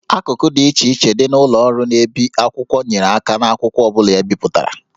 Akụkụ dị iche iche dị na ụlọ ọrụ na-ebi akwụkwọ nyere aka n'akwụkwọ ọ bụla e bipụtara